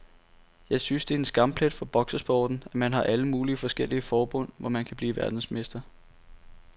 Jeg synes det er en skamplet for boksesporten, at man har alle mulige forskellige forbund, hvor man kan blive verdensmester.